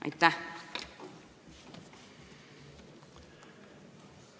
Aitäh!